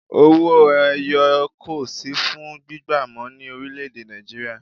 Owó ẹyọ kò sì fún gbígba mọ ní orílè èdè Nàìjíríà